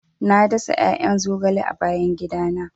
Na dasa 'ya'yan zogale a bayan gidana.